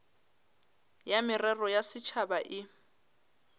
ya merero ya setšhaba e